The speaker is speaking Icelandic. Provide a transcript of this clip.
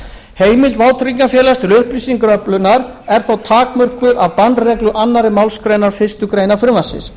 heimild vátryggingafélags til upplýsingaöflunar er þó takmörkuð af bannreglu annarri málsgrein fyrstu grein frumvarpsins